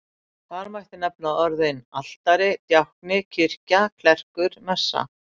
Þar mætti nefna orðin altari, djákni, kirkja, klerkur, messa.